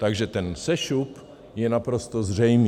Takže ten sešup je naprosto zřejmý.